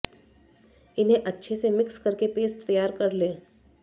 इन्हें अच्छे से मिक्स करके पेस्ट तैयार कर लें